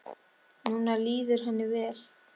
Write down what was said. Núna líður henni vel.